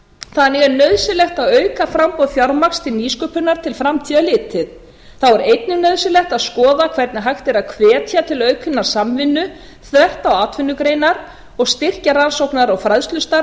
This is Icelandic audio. þannig er nauðsynlegt að auka framboð fjármagns til nýsköpunar til framtíðar litið þá er einnig nauðsynlegt að skoða hvernig hægt er að hvetja til aukinnar samvinnu þvert á atvinnugreinar og styrkja rannsóknar og fræðslustarf